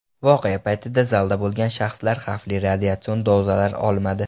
Voqea paytida zalda bo‘lgan shaxslar xavfli radiatsion dozalar olmadi.